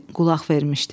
Qulaq vermişdi.